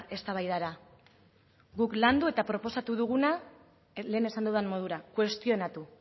eztabaidara guk landu eta proposatu duguna lehen esan dudan modura kuestionatu